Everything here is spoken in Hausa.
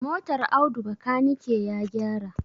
Motar Audu bakanike ya gyara.